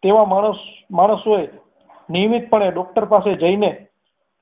તેવા માણસ તેવા માણસો નિયમિત પણે doctor પાસે જઈને